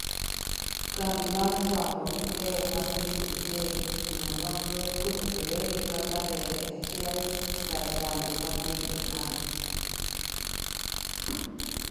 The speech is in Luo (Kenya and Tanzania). kambi mar fwambo gi keyo ma piny Britain otimo nonro kotudore gi kaka ndege achiel kar kambi ma piny Iran ,